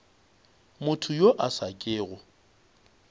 motho yo a sa kego